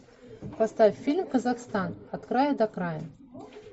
поставь фильм казахстан от края до края